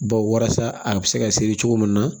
Baw walasa a bɛ se ka sere cogo min na